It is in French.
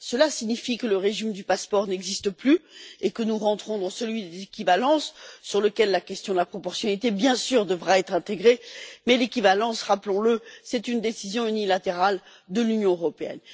Cela signifie que le régime du passeport n'existe plus et que nous rentrons dans celui de l'équivalence, dans lequel la question de la proportionnalité, bien sûr, devra être intégrée, mais l'équivalence rappelons le est une décision unilatérale de l'Union européenne.